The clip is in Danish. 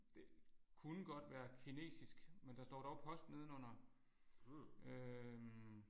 Det kunne godt være kinesisk men der står dog post nedenunder øh